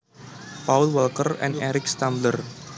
Paul Walker and Eric Stambler